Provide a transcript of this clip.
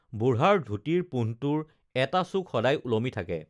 বুঢ়াৰ ধুতিৰ পোন্ধটোৰ এটা চুক সদায় ওলমি থাকে